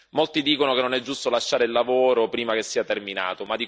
Molti dicono che non è giusto lasciare il lavoro prima che sia terminato.